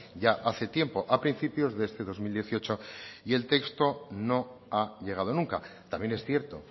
ya hace tiempo a principios de este dos mil dieciocho y el texto no ha llegado nunca también es cierto